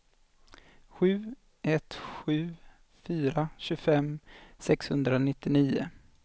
sju ett sju fyra tjugofem sexhundranittionio